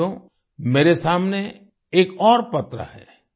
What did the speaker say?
साथियो मेरे सामने एक और पत्र है